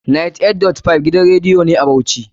98.5 gidan radiyo ne a Bauchi.